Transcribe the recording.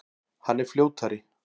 Hann er fljótari.